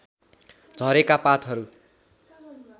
झरेका पातहरू